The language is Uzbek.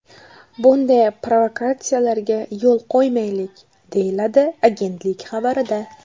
Bunday provokatsiyalarga yo‘l qo‘ymaylik”, deyiladi agentlik xabarida.